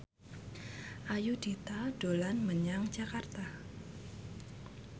Ayudhita dolan menyang Jakarta